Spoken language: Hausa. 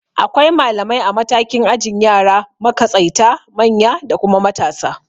Akwai malamai a matakin ajin yara, makatsaita, manya da kuma matasa